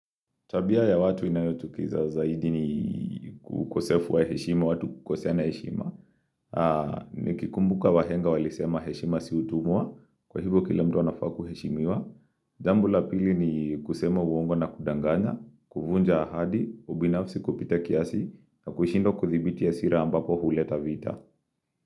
Tabia ya watu inayotukiza zaidi ni kukosefu wa heshima, watu kukosea na heshima. Nikikumbuka wahenga walisema heshima siutumua, kwa hivyo kila mto nafaku heshimiwa. Jambu la pili ni kusema uongo na kudanganya, kuvunja ahadi, ubinafsi kupita kiasi, na kushindwa kuthibiti hasira ambapo huleta vita.